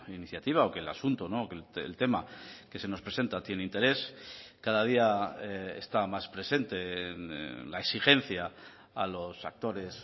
iniciativa o que el asunto o que el tema que se nos presenta tiene interés cada día está más presente la exigencia a los actores